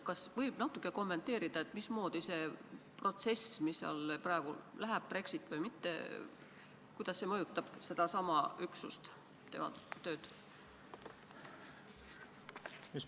Kas te võite natuke kommenteerida, mismoodi see protsess, mis seal praegu käib, Brexit või mitte, mõjutab sedasama üksust ja tema tööd?